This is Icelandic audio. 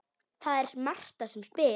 Það er Marta sem spyr.